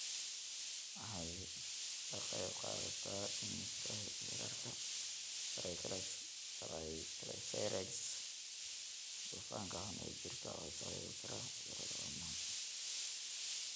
Waxay ka qaybqaadataa dhimista heerarka triglycerides, dufanka xun ee jirka oo sababi kara cudurrada wadnaha.